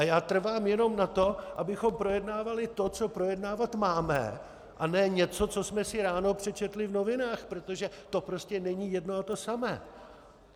A já trvám jenom na tom, abychom projednávali to, co projednávat máme, a ne něco, co jsme si ráno přečetli v novinách, protože to prostě není jedno a to samé.